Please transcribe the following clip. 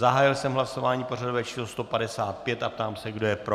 Zahájil jsem hlasování pořadové číslo 155 a ptám se, kdo je pro.